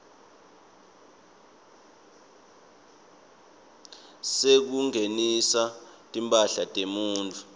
sekungenisa timphahla temuntfu